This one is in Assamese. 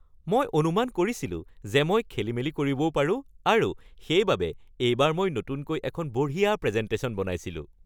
মই অনুমান কৰিছিলো যে মই খেলিমেলি কৰিবও পাৰোঁ আৰু সেইবাবে এইবাৰ মই নতুনকৈ এখন বঢ়িয়া প্ৰেজেণ্টেশ্যন বনাইছিলোঁ।